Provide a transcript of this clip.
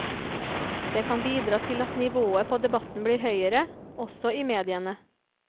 Det kan bidra til at nivået på debatten blir høyere, også i mediene.